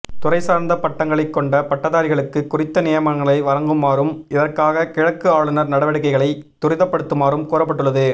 துறை சார்ந்த பட்டங்களை கொண்ட பட்டதாரிகளுக்கு குறித்த நியமனங்களை வழங்குமாறும் இதற்காக கிழக்கு ஆளுனர் நடவடிக்கைகளை துரிதப்படுத்துமாறும் கூறப்பட்டுள்ளது